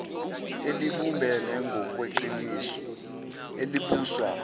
elibumbene ngokweqiniso elibuswa